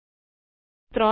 ૩